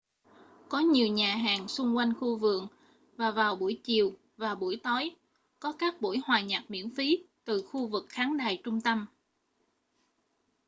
có nhiều nhà hàng xung quanh khu vườn và vào buổi chiều và buổi tối có các buổi hòa nhạc miễn phí từ khu vực khán đài trung tâm